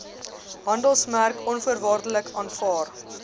handelsmerk onvoorwaardelik aanvaar